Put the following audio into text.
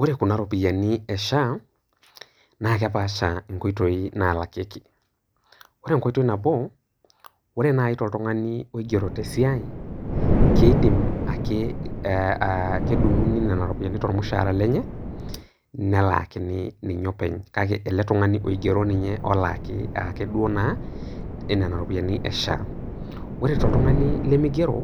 Ore kuna ropiyiani e Sha naa kepaasha nkoitoi naalakieki. Ore enkoitoi nabo ore naaji toltungani oigero tesia keidim ake aaah kedunguni nena ropiyiani tormushaara lenye nelaakini ninye openye kake ele tungani oigero ninye openy olaaki ake duo naanena ropiyiani e SHA. Ore toltungani lemeigero